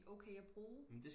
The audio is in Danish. De er okay at bruge